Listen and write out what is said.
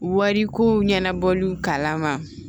Wariko ɲɛnabɔliw kalama